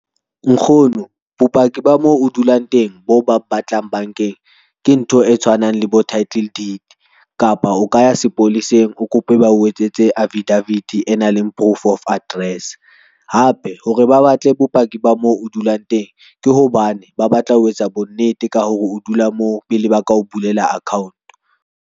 Nkgono bopaki ba mo o dulang teng bo ba batlang bankeng, ke ntho e tshwanang le bo title deed kapa o ka ya sepoleseng, o kope ba o etsetse affidavit e nang le proof of address hape hore ba batle bopaki ba mo o dulang teng, ke hobane ba batla ho etsa bonnete ka hore o dula moo pele ba ka o bulela account.